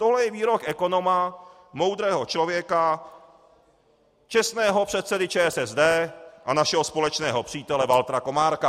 Tohle je výrok ekonoma, moudrého člověka, čestného předsedy ČSSD a našeho společného přítele Valtra Komárka.